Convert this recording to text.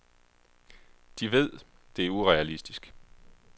De ved, det er urealistisk.